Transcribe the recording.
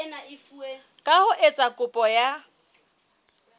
ka ho etsa kopo ya